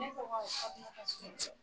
Ne tɔgɔ Fatumata Sumunti.